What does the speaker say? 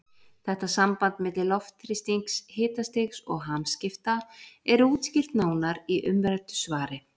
Þetta samband milli loftþrýstings, hitastigs og hamskipta er útskýrt nánar í umræddu svari.